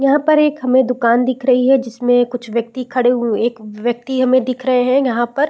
यहाँ पर एक हमें दूकान दिख रही है जिसमें कुछ व्यक्ति खड़े हुए एक व्यक्ति हमें दिख रहे है यहाँ पर --